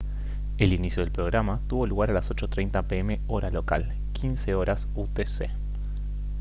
el inicio del programa tuvo lugar a las 8:30 p. m. hora local 15:00 utc